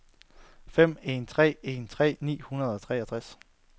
fem en tre en tres ni hundrede og treogtres